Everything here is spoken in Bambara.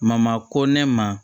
Mama ko ne ma